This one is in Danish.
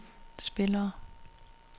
spillere